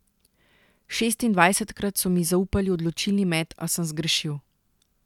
Šestindvajsetkrat so mi zaupali odločilni met, a sem zgrešil.